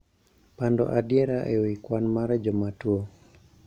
Pando adiera e wi kwan mar joma tuwO